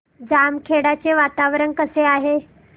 बामखेडा चे वातावरण कसे आहे